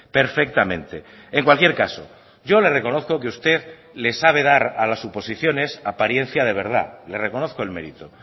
perfectamente en cualquier caso yo le reconozco que usted le sabe dar a las suposiciones apariencia de verdad le reconozco el mérito